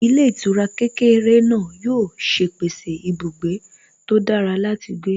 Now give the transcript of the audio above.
Ilé ìtura kékeré náà yóò ṣe pèsè ibùgbé tó dára láti gbé